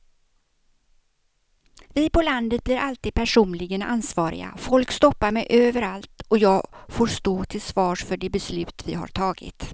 Vi på landet blir alltid personligen ansvariga, folk stoppar mig överallt och jag får stå till svars för de beslut vi har tagit.